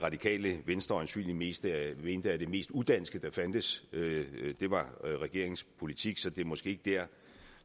radikale venstre øjensynlig mest mente at det mest udanske der fandtes var regeringens politik så det er måske ikke der